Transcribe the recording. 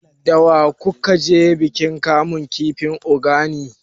Da wa ku ka je bikin kamun kifi na Ogani?